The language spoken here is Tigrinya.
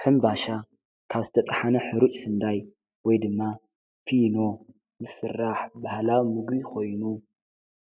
ሕምባሻ ካስተጥሓነ ኅሩጭ ስንዳይ ወይ ድማ ፊኖ ዝሥራሕ በህላ ምጕ ኾይኑ